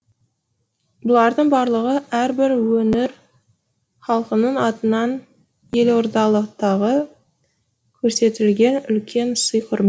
бұлардың барлығы әрбір өңір халқының атынан елордалықтағы көрсетілген үлкен сый құрмет